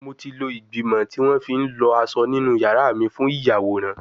Mo ti lo igbimọ ti won fi n lo aso ninu yara mi fun iyaworan